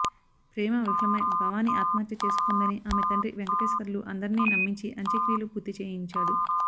ప్రేమ విఫలమై భవానీ ఆత్మహత్య చేసుకుందని ఆమె తండ్రి వెంకటేశ్వర్లు అందరినీ నమ్మించి అంత్యక్రియలు పూర్తి చేయించాడు